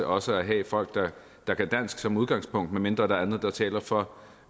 også at have folk der kan dansk som udgangspunkt medmindre der er andet der taler for